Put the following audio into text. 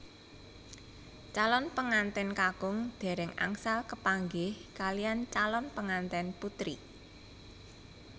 Calon pengantèn kakung dèrèng angsal kepanggih kaliyan calon pengantèn putri